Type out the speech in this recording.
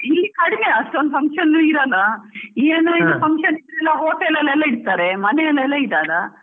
ಇಲ್ಲಿ ಕಡಿಮೆ ಅಷ್ಟೊಂದ್ function ನ್ನು ಇರೋಲ್ಲ ಏನೋ ಇದು function ಇದ್ರೆ hotel ಅಲ್ಲಿ ಇಡ್ತಾರೆ, ಮನೆಯಲ್ಲೆಲ್ಲ ಇಡೋಲ್ಲ.